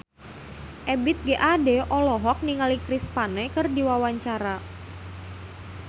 Ebith G. Ade olohok ningali Chris Pane keur diwawancara